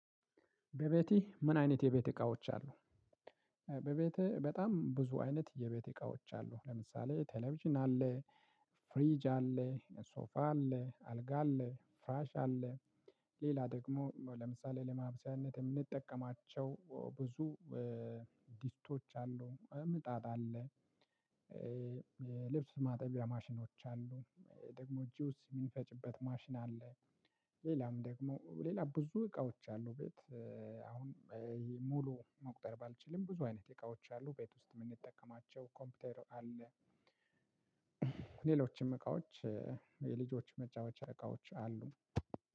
በቤትህ ምን አይነት የቤት እቃዎች አሉ? በቤት በጣም ብዙ አይነት የቤት እቃዎች አሉ። ለምሳሌ ቴሌቪዥን አለ። ፍሪጅ አለ። ሶፋ አለ። አልጋ አለ። ፍራሽ አለ። ሌላ ደግሞ ለምሳሌ ለማብሰያነት የምንጠቀማቸው ብዙ- ዲስቶች አሉ። ምጣድ አለ። ልብስ ማጠቢያ ማሽኖች አሉ። ደግሞ ጁስ የሚንፈጭበት ማሽን አለ። ሌላም ደግሞ ሌላ ብዙ እቃዎች አሉ ቤት። ሙሉ መቁጠር ባልችልም ብዙ አይነት እቃዎች አሉ ቤት ውስጥ የምንጠቀማቸው። ኮምፒውተር አለ። ሌሎችም እቃዎች የልጆች መጫወቻ እቃዎች አሉ።